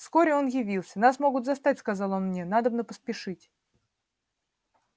вскоре и он явился нас могут застать сказал он мне надобно поспешить